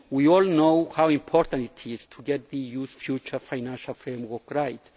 We all know how important it is to get the EU's future financial framework right.